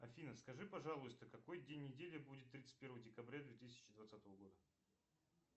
афина скажи пожалуйста какой день недели будет тридцать первое декабря две тысячи двадцатого года